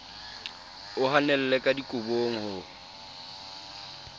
o hanelle ka dikobong ho